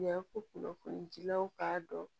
Yan ko kunnafonidilaw k'a dɔn